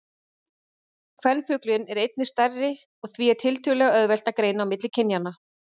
Kvenfuglinn er einnig stærri og því er tiltölulega auðvelt að greina á milli kynjanna.